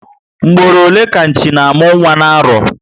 Mgboro ole ka Nchi na amụ nwa na arọ?